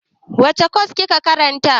Wace kwas kike karanta?